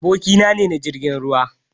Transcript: Da aboki na ne na jirgin ruwa.